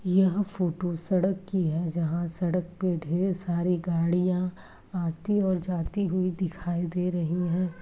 यह फोटो सड़क की है। जहाँ सड़क पे ढेर सारी गाड़ियाँ आती और जाती हुई दिखाई दे रही हैं।